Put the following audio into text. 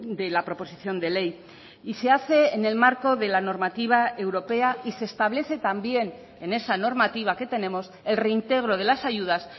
de la proposición de ley y se hace en el marco de la normativa europea y se establece también en esa normativa que tenemos el reintegro de las ayudas